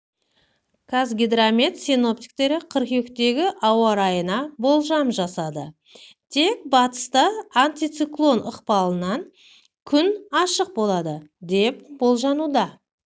қазгидромет синоптиктері қыркүйектегі ауа райына болжам жасады тек батыста антициклон ықпалынан күн ашық болады деп болжануда